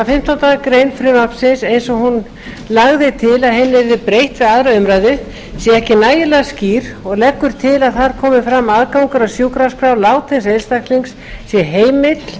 að fimmtándu greinar frumvarpsins eins og hún lagði til að henni yrði breytt við aðra umræðu sé ekki nægilega skýr og leggur til að þar komi fram að aðgangur að sjúkraskrá látins einstaklings sé heimill